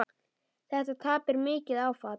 Þetta tap er mikið áfall.